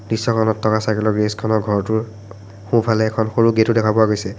দৃশ্যখনত থকা চাইকেলৰ গেৰেজখনৰ ঘৰটোৰ সোঁফালে এখন সৰু গেটো দেখা পোৱা গৈছে।